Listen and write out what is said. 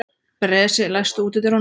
Bresi, læstu útidyrunum.